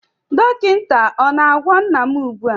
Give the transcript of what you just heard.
Dọkịta ọ na-agwọ nna m ugbu a?